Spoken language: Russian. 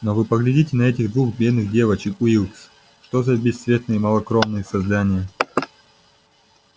но вы поглядите на этих двух бедных девочек уилкс что за бесцветные малокровные создания